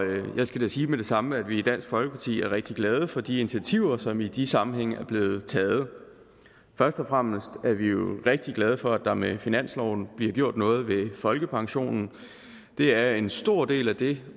jeg skal da sige med det samme at vi i dansk folkeparti er rigtig glade for de initiativer som i de sammenhænge er blevet taget først og fremmest er vi jo rigtig glade for at der med finansloven bliver gjort noget ved folkepensionen det er en stor del af det